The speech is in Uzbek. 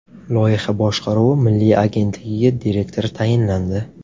Loyiha boshqaruvi milliy agentligiga direktor tayinlandi.